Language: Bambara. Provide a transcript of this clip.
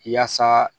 Yaasa